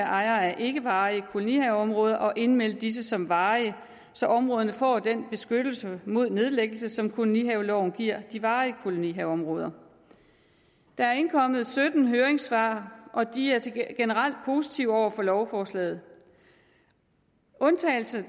ejere af ikkevarige kolonihaveområder at indmelde disse som varige så områderne får den beskyttelse mod nedlæggelse som kolonihaveloven giver de varige kolonihaveområder der er indkommet sytten høringssvar og de er generelt positive over for lovforslaget undtagelser